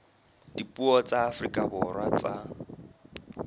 dipuo tsa afrika borwa tsa